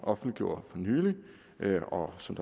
offentliggjorde for nylig og som